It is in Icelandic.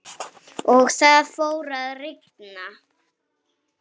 Og það fór að rigna.